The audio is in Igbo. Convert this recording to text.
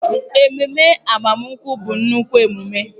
Ememe agbamakwụkwọ bụ nnukwu emume